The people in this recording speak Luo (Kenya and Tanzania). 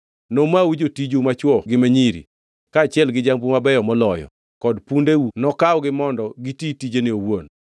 Nomau jotiju machwo gi ma nyiri, kaachiel gi jambu mabeyo moloyo, kod pundeu nokawgi mondo giti tijene owuon.